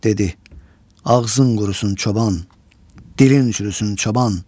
Dedi: Ağzın qurusun çoban, dilin çürüsün çoban.